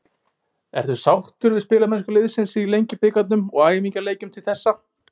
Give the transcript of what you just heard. Ertu sáttur við spilamennsku liðsins í Lengjubikarnum og æfingaleikjum til þessa?